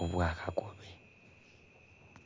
obwa kakobe.